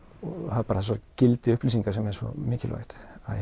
það er bara þetta gildi upplýsinga sem er svo mikilvægt